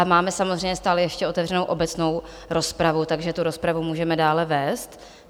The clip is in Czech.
A máme samozřejmě stále ještě otevřenu obecnou rozpravu, takže tu rozpravu můžeme dále vést.